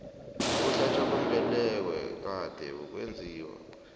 ukuhlatjwa kwembeleko kade kusenziwa